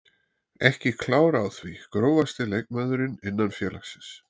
Ekki klár á því Grófasti leikmaður innan félagsins?